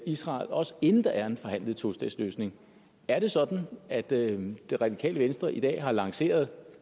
israel også inden der er en forhandlet tostatsløsning er det sådan at det det radikale venstre i dag har lanceret